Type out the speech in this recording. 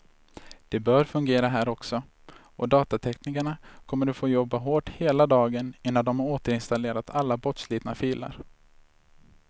Det bör fungera här också, och datateknikerna kommer att få jobba hårt hela dagen innan de har återinstallerat alla bortslitna filer.